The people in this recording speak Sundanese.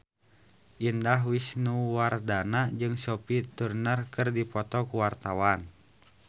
Indah Wisnuwardana jeung Sophie Turner keur dipoto ku wartawan